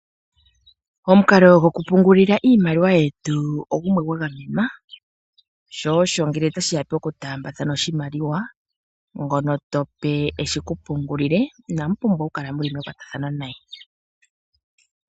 Omukalo gokupungulila iimaliwa yetu ogumwe gwa gamenwa sho osho ngele otashiya pokutaambatathana oshimaliwa ngono tope eshi kupungulile inamu pumbwa okukala muli mekwathano naye.